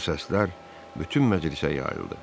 Bu səslər bütün məclisə yayıldı.